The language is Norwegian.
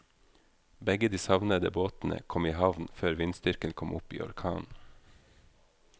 Begge de savnede båtene kom i havn før vindstyrken kom opp i orkan.